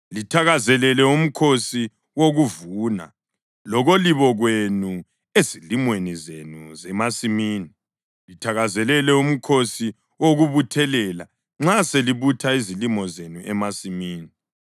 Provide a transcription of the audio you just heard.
Lithakazelele uMkhosi wokuVuna lokolibo kwenu ezilimweni zenu zemasimini. Lithakazelele uMkhosi wokuButhelela nxa selibutha izilimo zenu emasimini.